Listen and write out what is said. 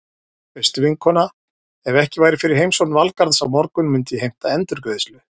Veistu vinkona, ef ekki væri fyrir heimsókn Valgarðs á morgun myndi ég heimta endurgreiðslu.